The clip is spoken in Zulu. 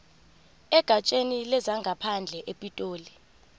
egatsheni lezangaphandle epitoli